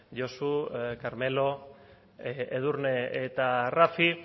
josu carmelo edurne eta rafi